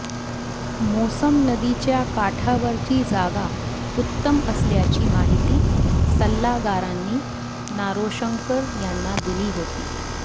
मोसम नदीच्या काठावरची जागा उत्तम असल्याची माहिती सल्लागारांनी नारोशंकर यांना दिली होती